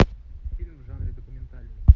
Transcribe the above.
фильм в жанре документальный